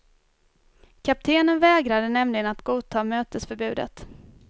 Kaptenen vägrade nämligen att godtaga mötesförbudet.